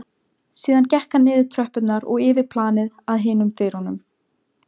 Síðan gekk hann niður tröppurnar og yfir planið að hinum dyrunum.